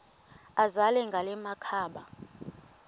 azele ngala makhaba